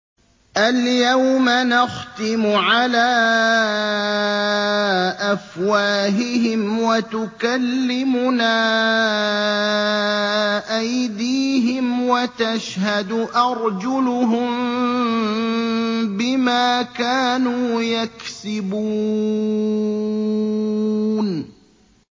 الْيَوْمَ نَخْتِمُ عَلَىٰ أَفْوَاهِهِمْ وَتُكَلِّمُنَا أَيْدِيهِمْ وَتَشْهَدُ أَرْجُلُهُم بِمَا كَانُوا يَكْسِبُونَ